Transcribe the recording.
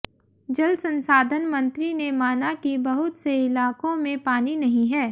जल संसाधन मंत्री ने माना कि बहुत से इलाकों में पानी नहीं है